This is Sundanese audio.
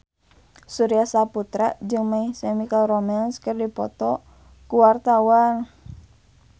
Surya Saputra jeung My Chemical Romance keur dipoto ku wartawan